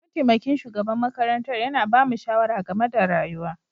Mataimakin shugaban makarantar yana ba mu shawara game da rayuwa.